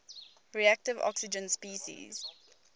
reactive oxygen species